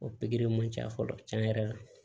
O pikiri ma ca fɔlɔ tiɲɛ yɛrɛ la